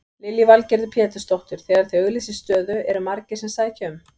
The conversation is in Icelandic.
Lillý Valgerður Pétursdóttir: Þegar þið auglýsið stöðu eru margir sem sækja um?